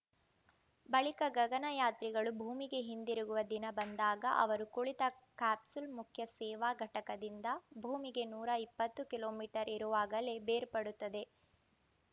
ಬಳಿಕ ಗಗನ ಯಾತ್ರಿಗಳು ಭೂಮಿಗೆ ಹಿಂದಿರುಗುವ ದಿನ ಬಂದಾಗ ಅವರು ಕುಳಿತ ಕ್ಯಾಪ್ಸೂಲ್‌ ಮುಖ್ಯ ಸೇವಾ ಘಟಕದಿಂದ ಭೂಮಿಗೆ ನೂರ ಇಪ್ಪತ್ತು ಕಿಲೋ ಮೀಟರ್ ಇರುವಾಗಲೇ ಬೇರ್ಪಡುತ್ತದೆ